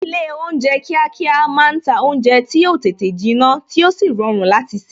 Ilé oúnjẹ kíákíá máa ń ta oúnjẹ tí yo tètè jinna tí ó sì rọrùn láti se